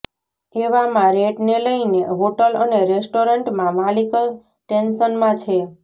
એવામાં રેટને લઈને હોટલ અને રેસ્ટોરન્ટમા માલિક ટેન્શનમાં છે